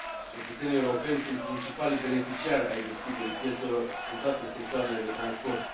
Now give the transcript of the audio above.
Cetățenii europeni sunt principalii beneficiari ai deschiderii piețelor în toate sectoarele de transport.